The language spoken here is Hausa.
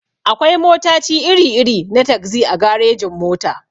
Akwai motaci iri-iri na tagzi a garejin-mota.